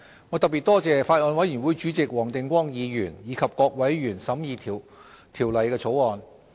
我特別多謝法案委員會主席黃定光議員及各委員審議《條例草案》。